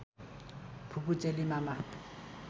फुपू चेली मामा